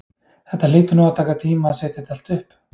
Þetta hlýtur nú að taka tíma að setja þetta allt upp?